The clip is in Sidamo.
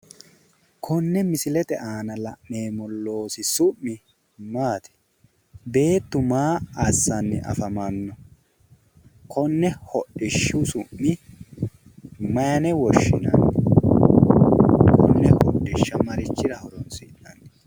Konne misilete aana la'neemmo loosi su'mi maati? Beettu maa assanni afamanni no? Konne hodhishshu su'mi mayine woshshinanni? Konne hodhishsha marichira horonsi'nanni?